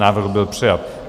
Návrh byl přijat.